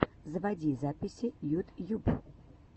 заводи записи ютьюб